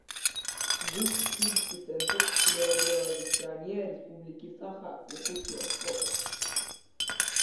гуп технический центр телерадиовещания республики саха якутия фото